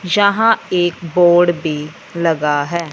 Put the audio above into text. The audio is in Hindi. यहां एक बोर्ड भी लगा है।